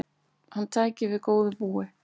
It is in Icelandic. Hann tæki við góðu búi.